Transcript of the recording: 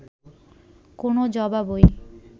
কোনও জবাবই